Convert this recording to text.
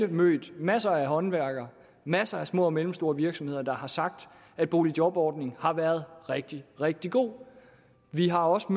mødt masser af håndværkere masser af små og mellemstore virksomheder der har sagt at boligjobordningen har været rigtig rigtig god vi har også